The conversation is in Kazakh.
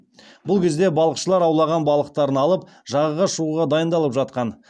бұл кезде балықшылар аулаған балықтарын алып жағаға шығуға дайындалып жатқан